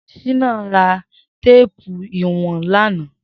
Shina rà téèpù iwọ̀n làná